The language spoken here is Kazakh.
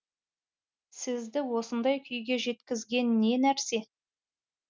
сізді осындай күйге жеткізген не нәрсе